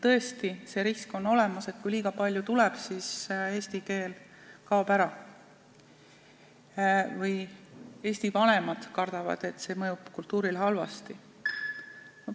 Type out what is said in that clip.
Tõesti on olemas see risk, et kui kooli tuleb liiga palju venekeelseid lapsi, siis eesti keel kaob ära või eesti vanemad kardavad, et see mõjub kultuurile halvasti.